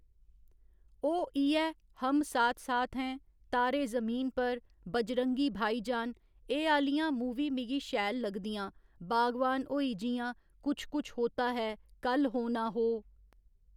ओह् इ'यै हम साथ साथ हैं, तारे जमीन पर, बजरंगी भाईजान एह् आह्‌लियां मूवी मिगी शैल लगदियां बागवान होई जि'यां कुछ कुछ होता है, कल हो ना हो